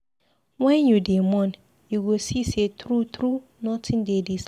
Wen you dey mourn, you go see sey true-true, notin dey dis life.